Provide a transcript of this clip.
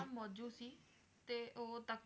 ਓਹਦਾ ਨਾਮ ਮੌਜੂ ਸੀ ਤੇ ਉਹ